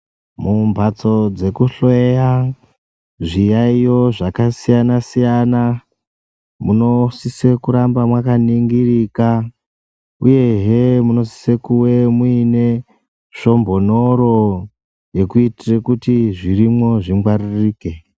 Mumhatso dzekuhloya zviyaiyo zvakasiyana-siyana, munosise kuramba mwakaningirika, uyehe munosise kuwe muine svombonoro, yekuitire kuti zvirimo zvingwaririke.